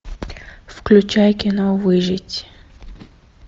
включай кино выжить